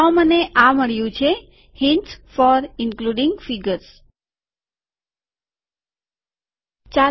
તો મને આ મળ્યું છે હીન્ટ્સ ફોર ઈનકલુડીંગ ફીગર્સ આકૃતિઓના સમાવેશ માટે સંકેતો